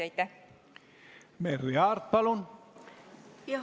Merry Aart, palun!